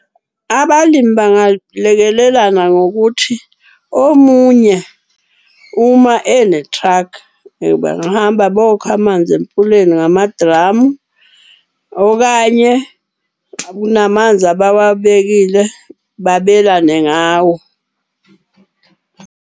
Abalimi balekelelana ngokuthi omunye uma ene-truck bangahamba bokha amanzi emfuleni ngamadramu. Okanye kunamanzi abawabekile, babelane ngawo.